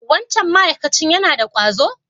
Wancan ma'akacin yana da ƙwazo?